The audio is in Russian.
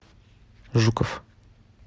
жуков